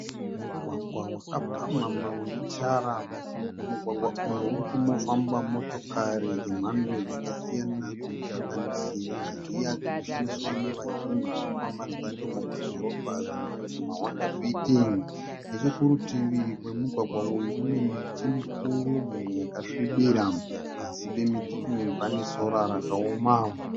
Mugwagwa wakapamhamha unetara. Mumugwagwa umu muri kufamba motokari dzemhando dzakasiyana dzinosanganisira dziya dzinoshandiswa nevazhinji kufamba dzendo mumadhorobha dzinodzi maHonda fiti. Nechekurutivi kwemugwagwa uyu kune miti mikuru mimwe yakasvibira. Pasi pemiti iyi pane sora rakaoma.